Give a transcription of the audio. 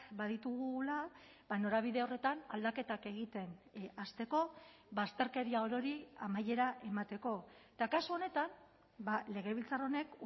baditugula norabide horretan aldaketak egiten hasteko bazterkeria orori amaiera emateko eta kasu honetan legebiltzar honek